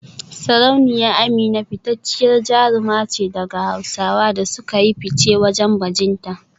Sarauniya Amina fitacciyar jaruma ce daga Hausawa da suka yi fice wajen bajinta